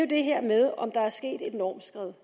det her med om der er sket et normskred